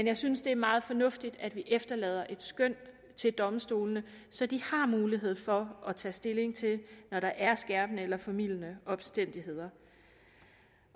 jeg synes det er meget fornuftigt at vi efterlader et skøn til domstolene så de har mulighed for at tage stilling til det når der er skærpende eller formildende omstændigheder